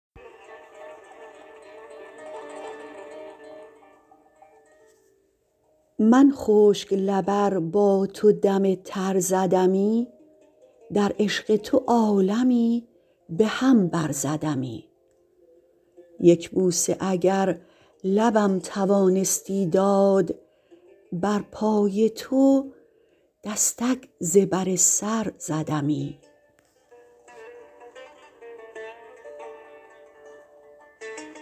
من خشک لب ار با تو دم تر زدمی در عشق تو عالمی به هم برزدمی یک بوسه اگر لبم توانستی داد بر پای تو دستک ز بر سر زدمی